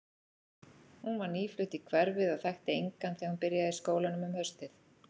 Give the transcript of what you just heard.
Hún var nýflutt í hverfið og þekkti engan þegar hún byrjaði í skólanum um haustið.